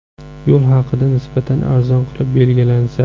Yo‘l haqi nisbatan arzon qilib belgilansa.